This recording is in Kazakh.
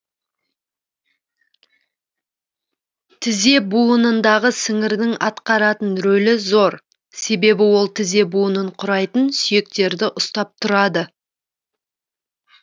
тізе буынындағы сіңірдің атқаратын рөлі зор себебі ол тізе буынын құрайтын сүйектерді ұстап тұрады